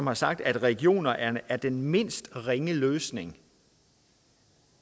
har sagt at regioner er er den mindst ringe løsning